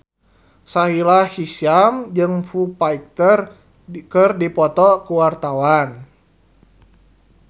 Sahila Hisyam jeung Foo Fighter keur dipoto ku wartawan